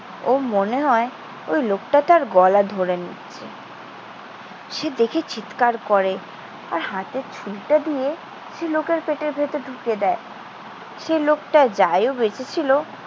ওর মনে হয় ওই লোকটা তার গলা ধরে নিচ্ছে। সে দেখে চিৎকার করে। আর হাতের ছুরিটা দিয়ে সে লোকের পেটের ভেতর ঢুকিয়ে দেয়। সে লোকটা যাইও বেঁচে ছিল